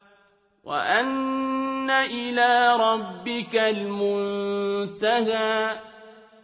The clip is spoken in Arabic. وَأَنَّ إِلَىٰ رَبِّكَ الْمُنتَهَىٰ